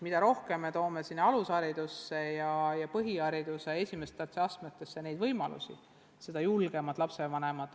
Mida rohkem me toome alusharidusse ja põhihariduse esimestesse astmetesse neid võimalusi, seda julgemad on lapsevanemad.